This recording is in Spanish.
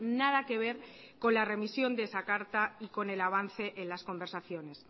nada que ver con la remisión de esa carta y con el avance en las conversaciones